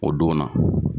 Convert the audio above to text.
O don na